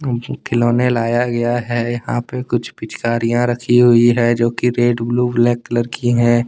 खिलौने लाया गया है यहां पे कुछ पिचकारियां रखी हुई है जो कि रेड ब्लू ब्लैक कलर की हैं।